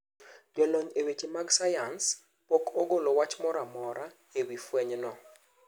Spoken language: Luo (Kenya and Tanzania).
Jolony e weche mag sayans pok ogolo wach moramora ewii fweny no.